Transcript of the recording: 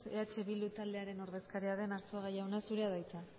eh bildu taldearen ordezkaria den arzuaga jauna zurea da hitza